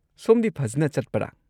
ꯁꯣꯝꯗꯤ ꯐꯖꯟꯅ ꯆꯠꯄꯔꯥ?